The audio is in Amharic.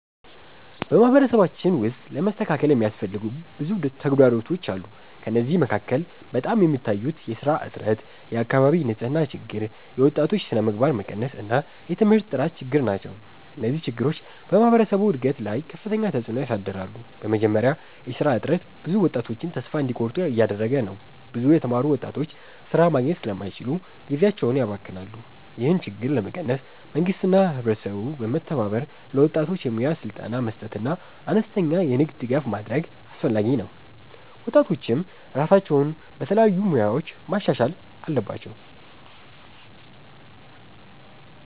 በማህበረሰባችን ውስጥ ለመስተካከል የሚያስፈልጉ ብዙ ተግዳሮቶች አሉ። ከእነዚህ መካከል በጣም የሚታዩት የሥራ እጥረት፣ የአካባቢ ንፅህና ችግር፣ የወጣቶች ስነምግባር መቀነስ እና የትምህርት ጥራት ችግር ናቸው። እነዚህ ችግሮች በማህበረሰቡ እድገት ላይ ከፍተኛ ተፅዕኖ ያሳድራሉ። በመጀመሪያ የሥራ እጥረት ብዙ ወጣቶችን ተስፋ እንዲቆርጡ እያደረገ ነው። ብዙ የተማሩ ወጣቶች ሥራ ማግኘት ስለማይችሉ ጊዜያቸውን ያባክናሉ። ይህን ችግር ለመቀነስ መንግስትና ህብረተሰቡ በመተባበር ለወጣቶች የሙያ ስልጠና መስጠትና አነስተኛ የንግድ ድጋፍ ማድረግ አስፈላጊ ነው። ወጣቶችም ራሳቸውን በተለያዩ ሙያዎች ማሻሻል አለባቸው።